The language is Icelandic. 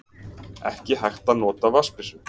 Ekki hægt að nota vatnsbyssu